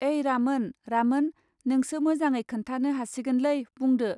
ऐ रामोन रामोन नोंसो मोजाङै खोन्थानो हासिगोनलै बुंदो.